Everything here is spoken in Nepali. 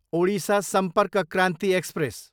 ओडिसा सम्पर्क क्रान्ति एक्सप्रेस